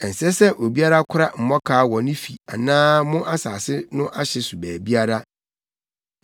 Ɛnsɛ sɛ obiara kora mmɔkaw wɔ ne fi anaa mo asase no ahye so baabiara.